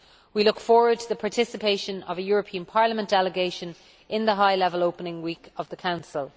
We look forward to the participation of a European Parliament delegation in the high level opening week of the Council.